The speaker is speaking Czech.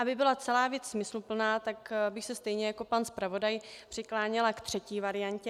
Aby byla celá věc smysluplná, tak bych se stejně jako pan zpravodaj přikláněla ke třetí variantě.